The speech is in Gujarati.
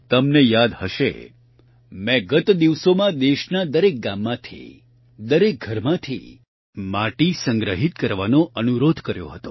તમને યાદ હશે મેં ગત દિવસોમાં દેશના દરેક ગામમાંથી દરેક ઘરમાંથી માટી સંગ્રહિત કરવાનો અનુરોધ કર્યો હતો